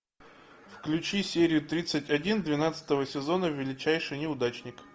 включи серию тридцать один двенадцатого сезона величайший неудачник